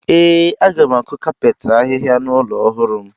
Ee, m ga-akụ kapet ahịhịa n’ụlọ ọhụrụ m.